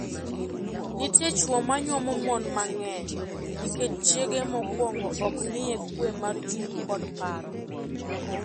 Nitie chwo manyuomo mon mang'eny nikech chiege mokuongo ok miye kwe mar chuny kod paro.